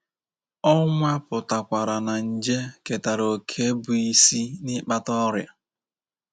Ọ nwapụtakwara na nje ketara òkè bụ́ isi n’ịkpata ọrịa.